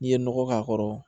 N'i ye nɔgɔ k'a kɔrɔ